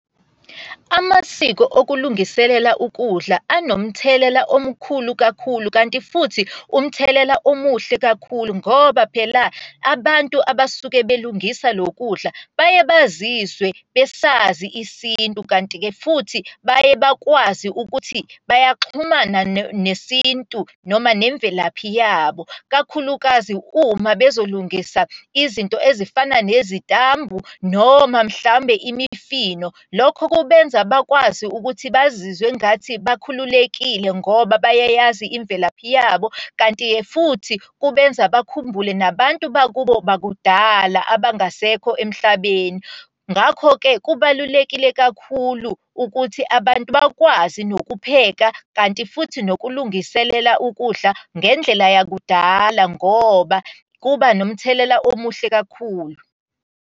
Amasiko okulungiselela ukudla anomthelela omkhulu kakhulu, kanti futhi umthelela omuhle kakhulu. Ngoba phela abantu abasuke belungise lo kudla baye bazizwe besazi isintu, kanti-ke futhi baye bakwazi ukuthi bayaxhumana nesintu noma nemvelaphi yabo, kakhulukazi uma bezolungisa izinto ezifana nezitambu noma mhlawumbe imifino. Lokho kubenza bakwazi ukuthi bazizwe ngathi bakhululekile ngoba bayayazi imvelaphi yabo. Kanti-ke futhi kubenza bakhumbule nabantu bakubo bakudala, abangasekho emhlabeni. Ngakho-ke kubalulekile kakhulu ukuthi abantu bakwazi nokupheka, kanti futhi nokulungiselela ukudla ngendlela yakudala ngoba kuba nomthelela omuhle kakhulu.